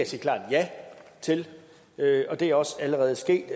sige klart ja til og det er også allerede sket